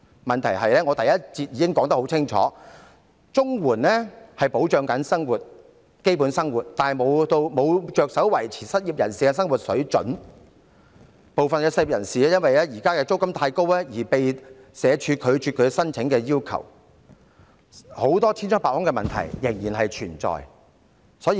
問題是，我在第一環節發言時已指出，綜援旨在保障基本生活，並無着手維持失業人士的生活水準，部分失業人士因為現時的租金太高，遭社署拒絕其申請，千瘡百孔的問題仍然存在。